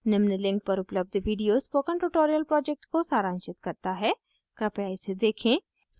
निम्न link पर उपलब्ध video spoken tutorial project को सारांशित करता है कृपया इसे देखें